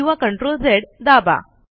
किंवा सीआरटीएल झ दाबा